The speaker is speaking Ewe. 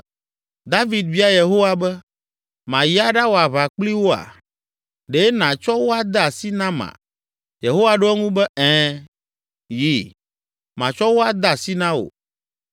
David bia Yehowa be, “Mayi aɖawɔ aʋa kpli woa? Ɖe nàtsɔ wo ade asi nama?” Yehowa ɖo eŋu be, “Ɛ̃, yi, matsɔ wo ade asi na wò.”